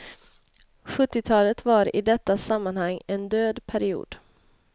Sjuttiotalet var i detta sammanhang en död period.